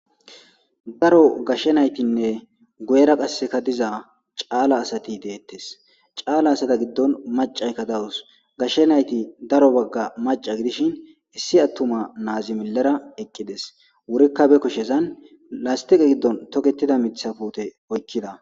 daro gashshe naytinne goyera qasseka diza caala asati deettes caala asata giddon macaykka dawus gashshe nayti daro bagga maca gidishin issi attuma naazi millera eqqides wurikka be koshezan lastiqe giddon toketida mitha pute oykkida